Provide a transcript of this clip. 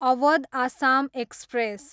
Awadh Assam express